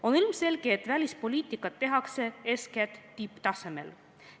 On ilmselge, et välispoliitikat tehakse eeskätt tipptasemel.